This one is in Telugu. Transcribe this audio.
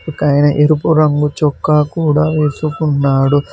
ఆయన ఎరుపు రంగు చొక్కా కూడా వేసుకున్నాడు.